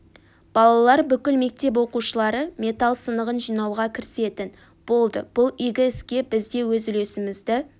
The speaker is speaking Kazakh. балалар бүкіл мектеп оқушылары металл сынығын жинауға кірісетін болды бұл игі іске біз де өз үлесімізді